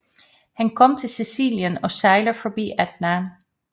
Han kommer til Sicilien og sejler forbi Etna